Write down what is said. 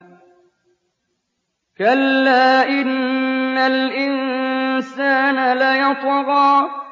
كَلَّا إِنَّ الْإِنسَانَ لَيَطْغَىٰ